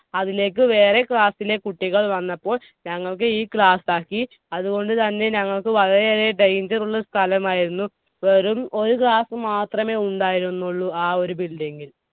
അതിലേക്കു വേറെ class ലെ കുട്ടികൾ വന്നപ്പോൾ ഞങ്ങൾക്ക് ഈ class ആക്കി. അതുകൊണ്ടുതന്നെ ഞങ്ങൾക്ക് വളരെയേറെ danger ഉള്ള സ്‌ഥലമായിരുന്നു. വെറും ഒരു class മാത്രമേ ഉണ്ടായിരുന്നുളളൂ ആ ഒരു building ൽ.